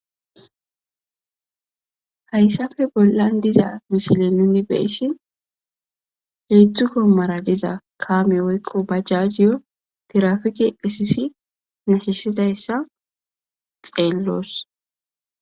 hayssafe bollan diza misile nuni beishin heedzdzu kommara diza kaame woyqo bajjajiyo tirafiki eqisisi nashisidayssa xeelloos